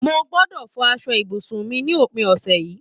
Mo gbódò fọ aṣọ ibùsùn mi ní òpin ọ̀sẹ̀ yìí.